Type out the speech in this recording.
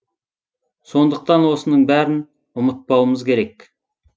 сондықтан осының бәрін ұмытпауымыз керек